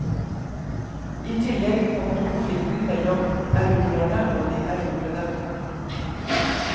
I tillegg kommer konflikten mellom erobrerne og de erobrede.